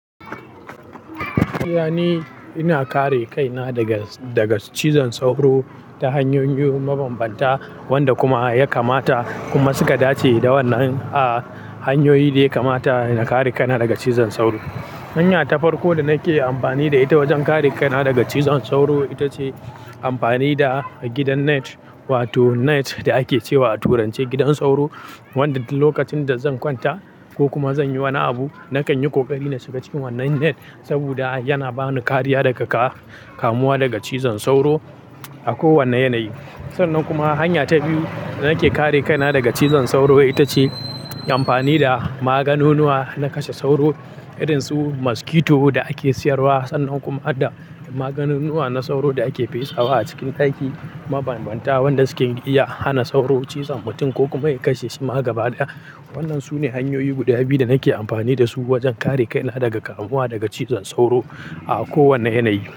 Iyani, ina kare kaina daga, daga cizon sauro ta hanyoyi mabambanta wanda kuma ya kamata kuma suka dace da wannan, a, hanyoyi da ya kamata ina kare kana daga cizon sauro. Hanya ta farko da nake amfani da ita wajen kare kaina daga cizon sauro ita ce amfani da gidan net wato net da ake cewa a turance gidan sauro wanda duk lokacin da zan kwanta ko kuma zan yi wani abu nakan yi ƙoƙari na shiga cikin wannan net saboda yana bani kariya daga ka-kamuwa daga cizon sauro a kowane yanayi. Sannan kuma hanya ta biyu da nake kare kaina daga cizon sauro ita ce amfani da maganunuwa na kashe sauro irin su maskito da ake siyarwa sannan kuma hada da maganunuwa na sauro da ake fesa wa a cikin daki mabambanta wanda suke iya hana sauro cizon mutum ko kuma ya kashe shi ma gaba ɗaya. Wannan sune hanyoyi guda biyu da nake amfani da su wajen kare kaina daga kamuwa daga cizon sauro a kowane yanayi.